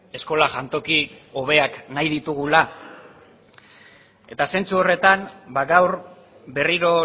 eskola jantoki hobeak nahi ditugula eta zentzu horretan ba gaur berriro